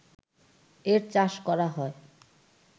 এর চাষ করা হয়